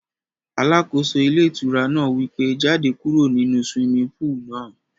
Alákóso ilé ìtura náà wí pé, jáde kúrò nínu swimming pool náà